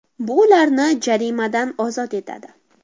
Bu ularni jarimadan ozod etadi.